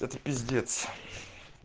это пиздец